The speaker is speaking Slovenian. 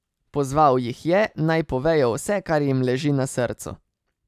Pozval jih je, naj povejo vse, kar jim leži na srcu.